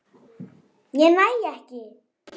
Ég næ ekki.